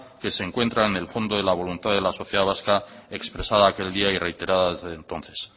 que se encuentra en el fondo de la sociedad vasca expresada aquel día y reiterada desde entonces